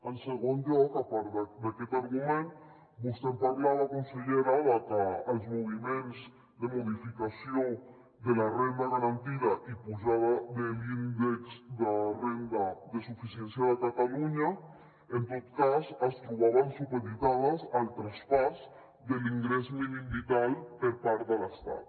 en segon lloc a part d’aquest argument vostè ens parlava consellera de que els moviments de modificació de la renda garantida i pujada de l’índex de renda de suficiència de catalunya en tot cas es trobaven supeditats al traspàs de l’ingrés mínim vital per part de l’estat